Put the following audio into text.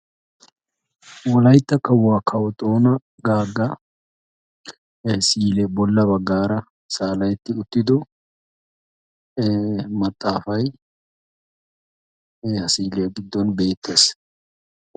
Wolaytta kawua kawo xoona gaaga misilee bolla baggaara saala"etti uttido we maxaafayi we ha SI"iliya giddon beettes.